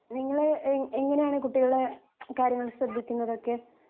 നിങ്ങള് എ എങ്ങനെയാണ് കുട്ടികളെ കാര്യങ്ങൾ ശ്രെദ്ധിക്കുന്നതൊക്കെ